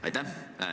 Aitäh!